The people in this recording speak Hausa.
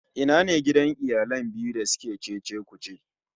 Ina ne gidan iyalan biyu da suke cece-kuce?